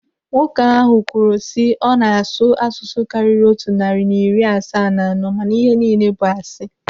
Nwoke ahụ kwuru sị ọ na-asụ asụsụ karịrị otu narị na iri asaa na anọ mana ihe niile bụ asị.